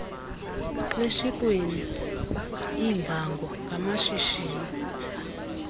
xeshikweni iimbango ngamashishini